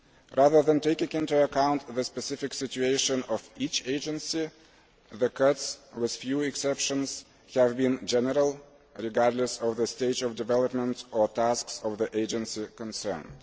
Rather than taking into account the specific situation of each agency, the cuts with few exceptions have been general, regardless of the stage of development or tasks of the agency concerned.